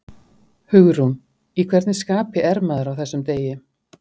Hugrún: Í hvernig skapi er maður á þessum degi?